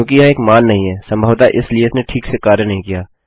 क्योंकि यह एक मान नहीं है संभवतः इसलिए इसने ठीक से कार्य नहीं किया